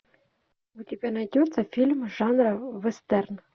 у тебя найдется фильм жанра вестерн